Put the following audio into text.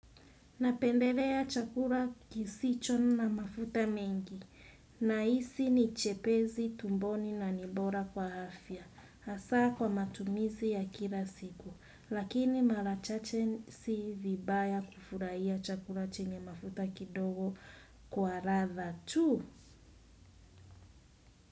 Napendelea chakula kisicho na mafuta mengi, nahisi ni chepesi, tumboni na ni bora kwa afya, hasaa kwa matumizi ya kila siku, lakini mara chache si vibaya kufurahia chakula chenye mafuta kidogo kwa ladha tu.